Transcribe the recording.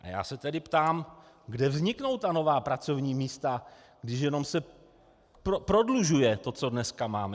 A já se tedy ptám, kde vzniknou ta nová pracovní místa, když jenom se prodlužuje to, co dnes máme.